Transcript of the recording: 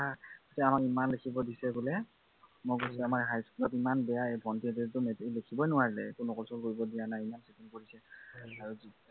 আমাক ইমান লিখিব দিছে বোলে, মই কৈছো যে আমাৰ high school যে ইমান বেয়া। এই ভন্টীহঁতে যে একো লিখিবই নোৱাৰিলে। একো নকল চকল কৰবি দিয়া নাই বোলে, ইমান খং কৰিছে।